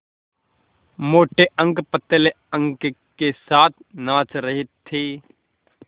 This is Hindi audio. मोटे अंक पतले अंकों के साथ नाच रहे थे